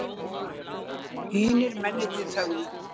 Hinir mennirnir þögðu.